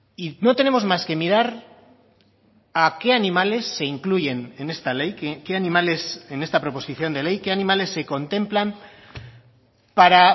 y no tenemos más que mirar a qué animales se incluyen en esta ley qué animales en esta proposición de ley qué animales se contemplan para